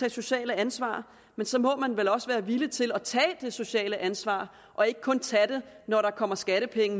et socialt ansvar men så må man vel også være villig til at tage det sociale ansvar og ikke kun tage det når der kommer skattepenge